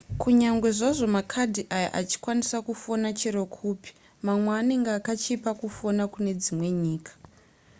kunyange zvazvo makadhi aya achikwanisa kufona chero kupi mamwe anenge akachipa kufona kune dzimwe nyika